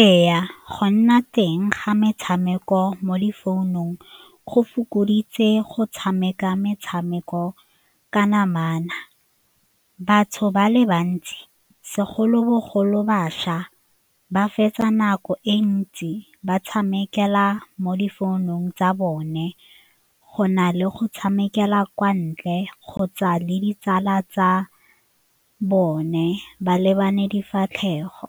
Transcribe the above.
Ee, go nna teng ga metshameko mo difounong go fokoditse go tshameka metshameko ka namana. Batho ba le bantsi segolobogolo bašwa ba fetsa nako e ntsi ba tshamekela mo difounung tsa bone go na le go tshamekela kwa ntle kgotsa le ditsala tsa bone ba lebane difatlhego,